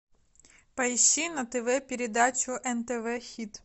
поищи на тв передачу нтв хит